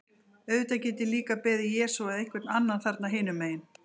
Auðvitað get ég líka beðið Jesú eða einhvern annan þarna hinum megin.